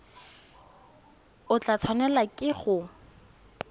o tla tshwanelwa ke go